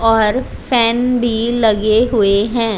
और फैन भी लगे हुए हैं।